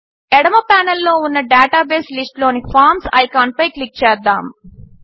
ఎడమ ప్యానెల్లో ఉన్న డేటాబేస్ లిస్ట్లోని ఫార్మ్స్ ఐకాన్పై క్లిక్ చేద్దాము